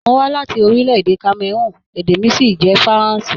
Mó wa láti orílẹ̀-èdè Kameroon, èdè mí sì jẹ faranse.